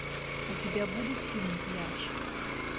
у тебя будет фильм пляж